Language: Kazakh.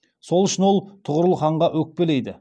сол үшін ол тұғырыл ханға өкпелейді